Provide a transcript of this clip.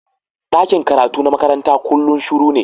Dakin karatu na makaranta kullum shiru ne.